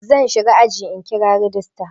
Zan shiga ajin in kira rajista.